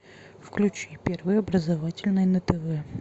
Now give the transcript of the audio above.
включи первый образовательный на тв